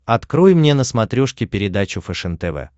открой мне на смотрешке передачу фэшен тв